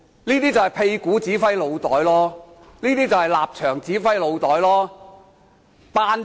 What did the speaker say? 這便是"屁股指揮腦袋"，是"立場指揮腦袋"。